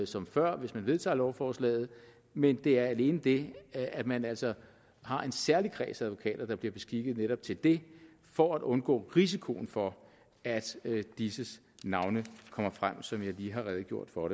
som før hvis man vedtager lovforslaget men det er alene det at man altså har en særlig kreds af advokater der bliver beskikket netop til det for at undgå risikoen for at disses navne kommer frem sådan som jeg lige har redegjort for